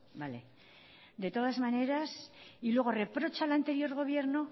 vale de todas maneras y luego reprocha al anterior gobierno